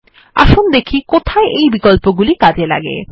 আসুন দেখি কোথায় এই বিকল্পগুলি কাজে লাগে